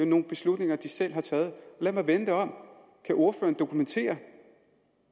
nogle beslutninger de selv har taget lad mig vende det om kan ordføreren dokumentere